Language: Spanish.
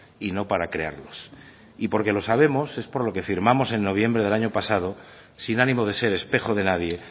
y no para crearlos y porque lo sabemos es por lo que firmamos en noviembre del año pasado sin ánimo de ser espejo de nadie